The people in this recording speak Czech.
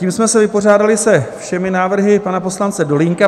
Tím jsme se vypořádali se všemi návrhy pana poslance Dolínka.